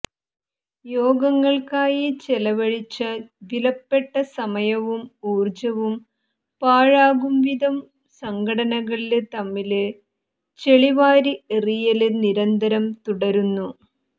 യോഗങ്ങള്ക്കായി ചെലവഴിച്ച വിലപ്പെട്ട സമയവും ഊര്ജവും പാഴാകുവിധം സംഘടനകള് തമ്മില് ചെളി വാരി എറിയല് നിരന്തരം തുടര്ന്നു